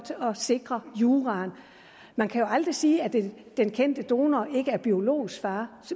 at sikre juraen man kan jo aldrig sige at den kendte donor ikke er biologisk far